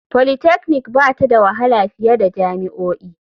Polytechnic ba ta da wahala fiye da jami'o'i.